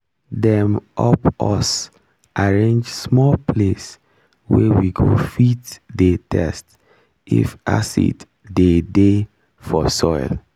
dem up us arrange small place wey we go fit dey test if acid dey dey for soil